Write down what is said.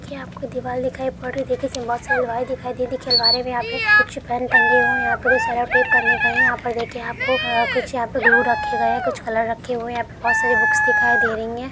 यह आपको दीवाल दिखाई पड़ रही है देखिए बहुत सारी वाईट देखिए अलमारी में आपको कुछ पेन टंगे हये है यहा पे सेलोटेप टंगे हुए है यहाँ पर देखिए आप को कुछ ग्लू रखे गये है कुछ कलर रखे गये है यहां पे बहुत सारे बुक्स दिखाई दे रही है।